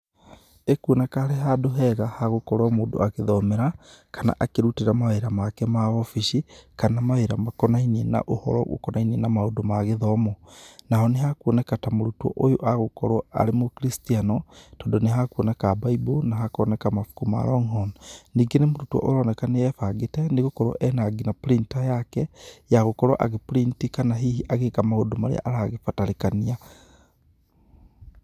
ĩkuoneka arĩ handũ hega ha gũkorwo mũndũ a gĩthomera, kana a kĩrutĩra maũndũ make ma obici, kana mawĩra makonaĩnie na ũhoro ũkonainĩe na maũndũ ma gĩthomo, naho nĩhekuoneka ta mũrũtwo ũyo egũkorwo arĩ mũkristiano tondũ nĩhekuoneka bible, na hakoneka mabũkũ ma longhorn, ningĩ nĩmũrutwo ũroneka nĩebangĩte, nĩgũkorwo enangina printer yake, yagũkorwo agĩpurinti kana hihi agĩka maũndũ marĩa aragĩbatarĩkania.